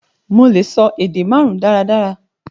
Mo lè sọ èdè màrùn daradara